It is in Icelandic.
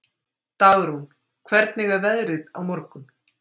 Dagrún, hvernig er veðrið á morgun?